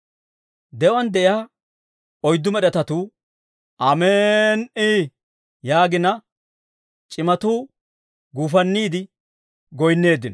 De'uwaan de'iyaa oyddu med'etatuu, «Amen"i» yaagina, c'imatuu guufanniide goyinneeddino.